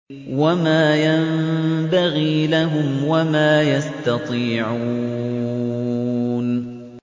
وَمَا يَنبَغِي لَهُمْ وَمَا يَسْتَطِيعُونَ